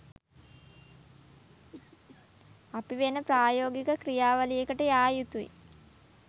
අපි වෙන ප්‍රායෝගික ක්‍රියාවලියකට යා යුතුයි